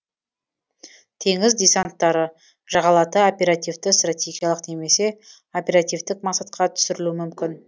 теңіз десанттары жағалата оперативті стратегиялық немесе оперативтік мақсатқа түсірілуі мүмкін